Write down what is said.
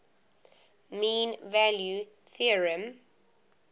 mean value theorem